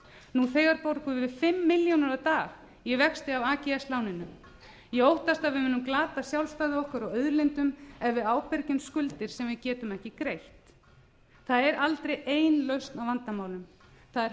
nú þegar borgum við fimm milljónir á dag í vexti af ags láninu ég óttast að við munum glata sjálfstæði okkar og auðlindum ef við ábyrgjumst skuldir sem við getum ekki greitt það er aldrei ein lausn á vandamálum það er